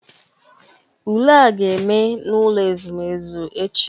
Ule a ga-eme n'ụlọ ezumezu echi